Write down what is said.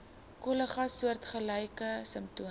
kollegas soortgelyke simptome